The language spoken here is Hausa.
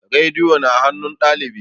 Rediyo na hanun ɗalibi